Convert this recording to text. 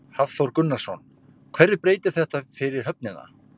Hafþór Gunnarsson: Hverju breytir þetta fyrir höfnina?